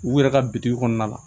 U yɛrɛ ka bitikiw kɔnɔna la